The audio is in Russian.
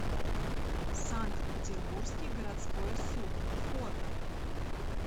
санкт петербургский городской суд фото